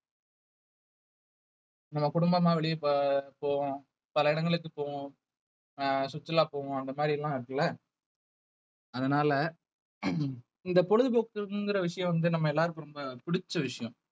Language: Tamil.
நம்ம குடும்பமா வெளிய போவ~ போவோம் பல இடங்களுக்கு போவோம் அஹ் சுற்றுலா போவோம் அந்த மாதிரி எல்லாம் இருக்குல்ல அதனால இந்த பொழுதுபோக்குங்கிற விஷயம் வந்து நம்ம எல்லாருக்கும் ரொம்ப பிடிச்ச விஷயம்